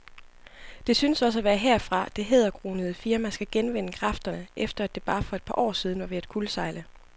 Det synes også at være herfra, det hæderkronede firma skal genvinde kræfterne, efter at det for bare et par år siden var ved at kuldsejle.